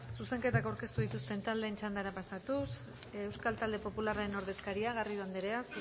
zuzenketak aurkeztu dituzten taldeen txandara pasatuz euskal talde popularraren ordezkaria garrido andrea